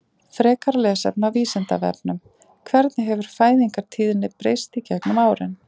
Frekara lesefni á Vísindavefnum: Hvernig hefur fæðingartíðni breyst gegnum árin?